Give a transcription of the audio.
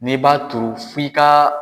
Ne b'a turu f'i ka.